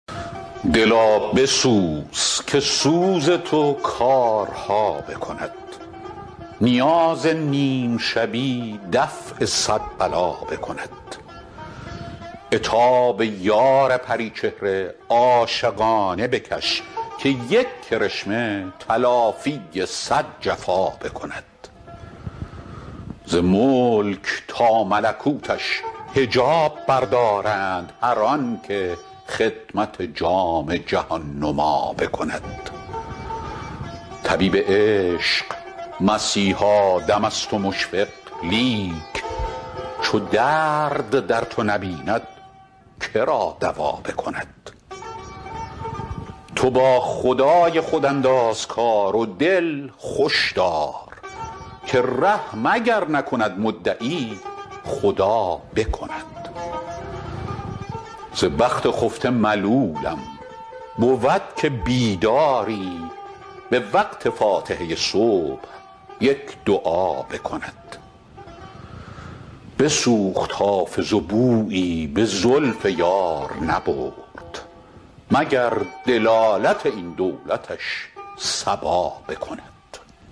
دلا بسوز که سوز تو کارها بکند نیاز نیم شبی دفع صد بلا بکند عتاب یار پری چهره عاشقانه بکش که یک کرشمه تلافی صد جفا بکند ز ملک تا ملکوتش حجاب بردارند هر آن که خدمت جام جهان نما بکند طبیب عشق مسیحا دم است و مشفق لیک چو درد در تو نبیند که را دوا بکند تو با خدای خود انداز کار و دل خوش دار که رحم اگر نکند مدعی خدا بکند ز بخت خفته ملولم بود که بیداری به وقت فاتحه صبح یک دعا بکند بسوخت حافظ و بویی به زلف یار نبرد مگر دلالت این دولتش صبا بکند